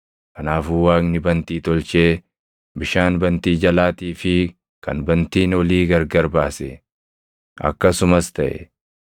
Kanaafuu Waaqni bantii tolchee bishaan bantii jalaatii fi kan bantiin olii gargar baase. Akkasumas taʼe.